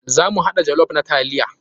Za mu haɗa jollof na taliya.